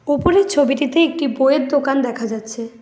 ওপরের ছবিটিতে একটি বইয়ের দোকান দেখা যাচ্ছে।